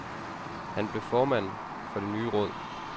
Han blev formand for det nye råd.